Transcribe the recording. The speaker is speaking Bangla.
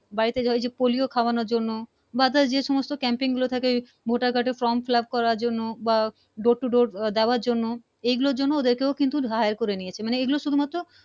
বাড়ি তে ওই যে পলিও খাওয়ানোর জন্য বা যে সমস্থ camping গুলো থাকে মোটা গাডের Form fillup করানোর জন্য বা Door to Door দেওয়ার জন্য এই গুলোর জন্য ওদেরকেও কিন্তু higher করে নিয়েছে মানে এই গুলো শুধু মাত্র